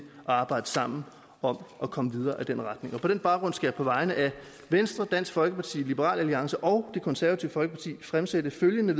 arbejde sammen og komme videre i den retning på den baggrund skal jeg på vegne af venstre dansk folkeparti liberal alliance og det konservative folkeparti fremsætte følgende